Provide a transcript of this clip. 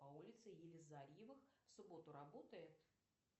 по улице елизарьевых в субботу работает